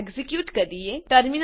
ચાલો એક્ઝીક્યુટ કરીએ